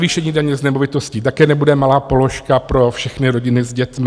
Navýšení daně z nemovitostí také nebude malá položka pro všechny rodiny s dětmi.